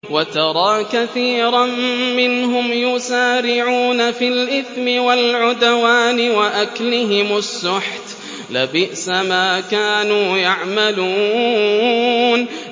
وَتَرَىٰ كَثِيرًا مِّنْهُمْ يُسَارِعُونَ فِي الْإِثْمِ وَالْعُدْوَانِ وَأَكْلِهِمُ السُّحْتَ ۚ لَبِئْسَ مَا كَانُوا يَعْمَلُونَ